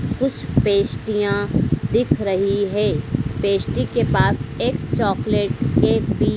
कुछ पेस्ट्रियां दिख रही है पेस्ट्री के पास एक चॉकलेट केक भी--